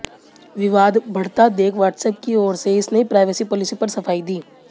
विवाद बढ़ता देख व्हाट्सऐप की ओर से इस नई प्राइवेसी पॉलिसी पर सफाई दी